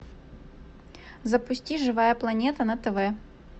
запусти живая планета на тв